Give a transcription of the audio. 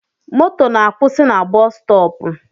Moto na akwụsị na busustopu